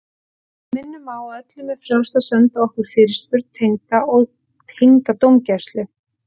Við minnum á að öllum er frjálst að senda okkur fyrirspurn tengda dómgæslu.